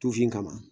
Tufin kama